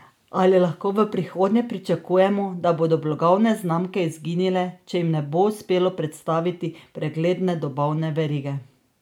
Ali lahko v prihodnje pričakujemo, da bodo blagovne znamke izginile, če jim ne bo uspelo predstaviti pregledne dobavne verige?